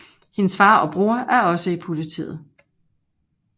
Hendes far og bror er også i politiet